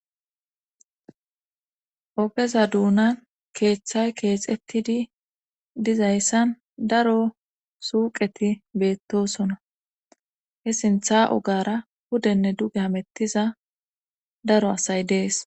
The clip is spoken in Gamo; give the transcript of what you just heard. ogeza duunan keeththay keexetidi dizayssan daro suuqeti beettosona he sintha ogara hudenne duge hamettiza daro asay dees